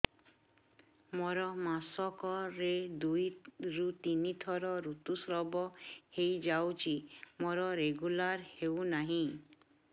ମୋର ମାସ କ ରେ ଦୁଇ ରୁ ତିନି ଥର ଋତୁଶ୍ରାବ ହେଇଯାଉଛି ମୋର ରେଗୁଲାର ହେଉନାହିଁ